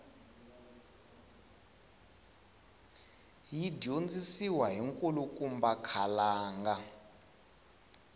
yi dyondzisiwa hi nkulukumba khalanga